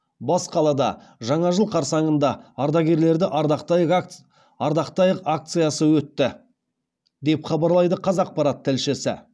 бас қалада жаңа жыл қарсаңында ардагерлерді ардақтайық акциясы өтті деп хабарлайды қазақпарат тілшісі